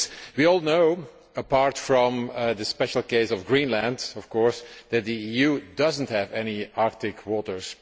We all know, apart from the special case of Greenland of course, that the EU does not have any Arctic waters.